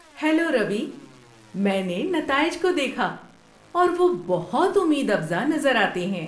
Hello Ravi, میں نے نتائج کو دیکھا اور وہ بہت امید افزا نظر آتے ہیں۔